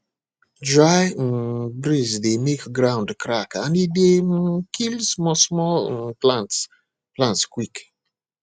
dry um breeze dey make ground crack and e dey um kill small small um plants plants quick